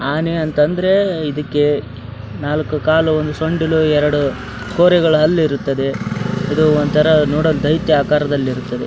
ಆನೆ ಅಂತಂದ್ರೆ ಇದಕ್ಕೆ ನಾಲ್ಕು ಕಾಲು ಒಂದು ಸೊಂಡಿಲು ಎರಡು ಕೋರೆಗಳ ಹಲ್ಲು ಇರುತ್ತದೆ ಇದು ಒಂತರ ದೈತ್ಯ ಆಕಾರದಲ್ಲಿರುತ್ತದೆ .